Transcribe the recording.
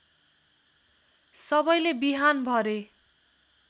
सबैले बिहान भरे